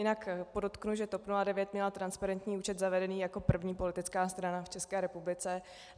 Jinak podotknu, že TOP 09 měla transparentní účet zavedený jako první politická strana v České republice.